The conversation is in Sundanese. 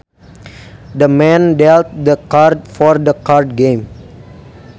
The man dealt the cards for the card game